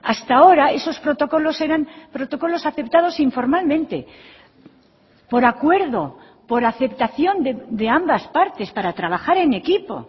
hasta ahora esos protocolos eran protocolos aceptados informalmente por acuerdo por aceptación de ambas partes para trabajar en equipo